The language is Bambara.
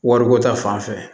Wariko ta fanfɛ